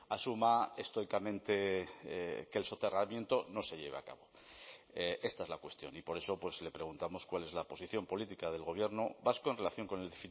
asuma estoicamente que el soterramiento no se lleve a cabo esta es la cuestión y por eso le preguntamos cuál es la posición política del gobierno vasco en relación con el